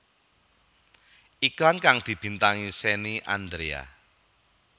Iklan kang dibintangi Shenny Andrea